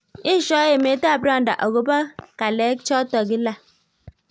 Eshoi emet ap Rwanda agobo kalek choto kila